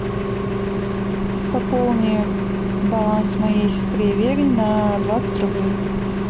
пополни баланс моей сестре вере на двадцать рублей